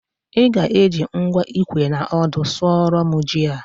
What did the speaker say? ị ga-eji ngwa ikwe na ọdụ sụọrọ m ji a